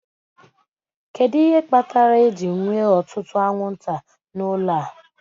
Kedu ihe kpatara ejiri nwee ọtụtụ anwụnta n'ụlọ a?